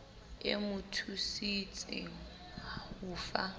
e mo thusitse ho fa